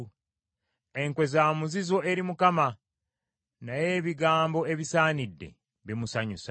Enkwe za muzizo eri Mukama , naye ebigambo ebisaanidde, bimusanyusa.